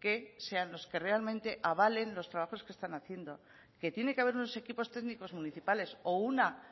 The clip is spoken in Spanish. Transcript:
que sean los que realmente avalen los trabajos que están haciendo que tiene que haber unos equipos técnicos municipales o una